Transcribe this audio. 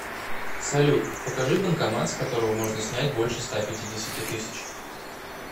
салют покажи банкомат с которого можно снять больше ста пятидесяти тысяч